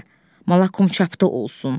Malakum çapda olsun.